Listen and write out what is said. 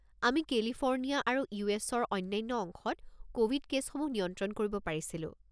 আমি কেলিফোৰ্ণিয়া আৰু ইউ.এছ.ৰ অন্যান্য অংশত ক'ভিড কে'ছসমূহ নিয়ন্ত্ৰন কৰিব পাৰিছিলোঁ।